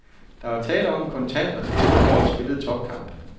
Der var tale om en kontant og til tider hårdt spillet topkamp.